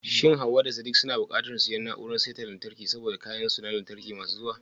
Shin Hawwa da Sadiq suna buƙatar siyan na'urar saita lantarki saboda kayan lantarkin su masu zuwa?